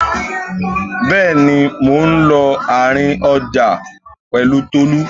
Bẹ́ẹ̀ni, mò ń lọ àárín ọjà pẹ̀lú Tolú.